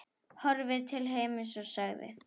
Horfði til himins og sagði: